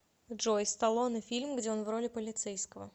джой сталлоне фильм где он в роли полицейского